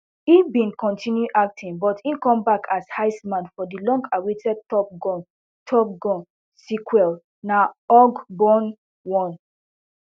e bin continue acting but im comeback as iceman for di long awaited top gun top gun sequel na org bon one